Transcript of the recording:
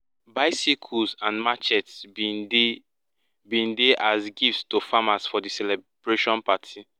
bicycles and machetes bin dey bin dey as gifts to farmers for di celebration party